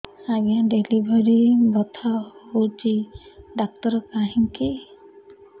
ଆଜ୍ଞା ଡେଲିଭରି ବଥା ହଉଚି ଡାକ୍ତର କାହିଁ କି